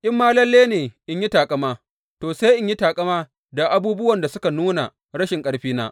In ma lalle ne in yi taƙama, to, sai in yi taƙama da abubuwan da suka nuna rashin ƙarfina.